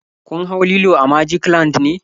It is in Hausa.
Kun hau lilo a magic land ne?